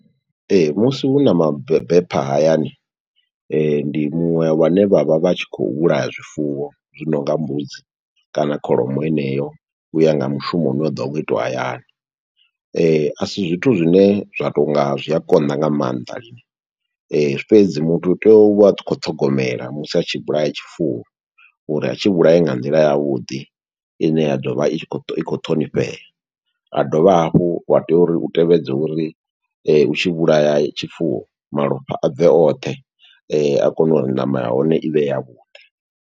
Ee, musi hu na mabepha hayani, ndi muṅwe wa ne vha vha vha tshi khou vhulaya zwifuwo, zwi nonga mbudzi kana kholomo heneyo, uya nga mushumo une wa ḓo vha u khou itiwa hayani. A si zwithu zwine zwa tonga zwi a konḓa nga maanḓa lini, fhedzi muthu u tea u vha a khou ṱhogomela musi a tshi vhulaya tshifuwo, uri a tshi vhulaye nga nḓila ya vhuḓi, ine ya ḓovha i khou, i khou ṱhonifhea. A dovha hafhu wa tea uri u tevhedze uri u tshi vhulaya tshifuwo, malofha a bve oṱhe, a kone uri ṋama ya hone i vhe ya vhuḓi.